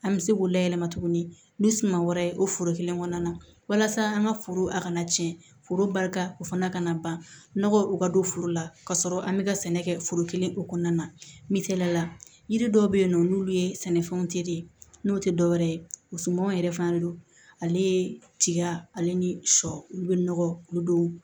An bɛ se k'u layɛlɛma tuguni ni suman wɛrɛ o foro kelen kɔnɔna na walasa an ka foro a kana tiɲɛ foroba o fana ka na ban nɔgɔ o ka don foro la ka sɔrɔ an bɛ ka sɛnɛ kɛ foro kelen o kɔnɔna na misaliyala yiri dɔw be yen nɔ n'olu ye sɛnɛfɛnw te ye n'o te dɔwɛrɛ ye musomanw yɛrɛ fɛnɛ don ale tiga ale ni sɔ olu be nɔgɔ olu don